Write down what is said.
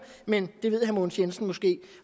men det ved herre mogens jensen måske